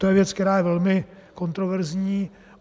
To je věc, která je velmi kontroverzní.